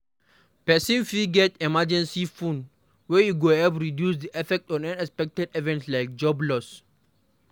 Person fit get emergency fund wey go help reduce di effect of unexpected events like job loss